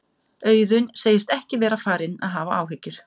Auðun segist ekki vera farinn að hafa áhyggjur.